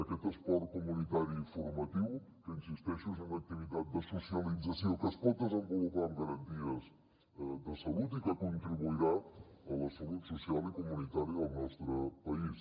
aquest esport comunitari i formatiu que hi insisteixo és una activitat de socialització que es pot desenvolupar amb garanties de salut i que contribuirà a la salut social i comunitària del nostre país